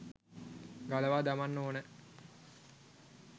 ගලවා දමන්න ඕන.